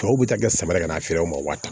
Tɔw bɛ taa kɛ samara ka na feere o ma wari ta